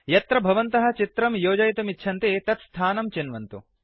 यत्र भवन्तः चित्रं योजयितुमिच्छन्ति तत् स्थानं चिन्वन्तु